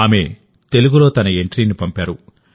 ఆమె తెలుగులో తన ఎంట్రీని పంపారు